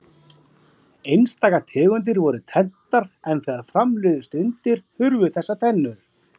Einstaka tegundir voru tenntar en þegar fram liðu stundir hurfu þessar tennur.